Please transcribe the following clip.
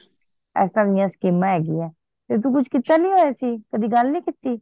ਇਸ ਤਰਾਹ ਦੀਆ ਸਕੀਮਾਂ ਹੈਗੀਆਂ ਨੇ ਤੂੰ ਕੁਛ ਕੀਤਾ ਨੀ ਹੋਇਆ ਸੀ ਕਦੀ ਗੱਲ ਨਹੀਂ ਕੀਤੀ